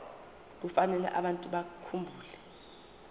kufanele abantu bakhumbule